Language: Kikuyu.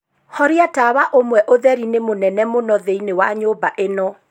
horia tawa umwe ũtheri ni mũnene mũno thĩinĩ wa nyũmba ĩno.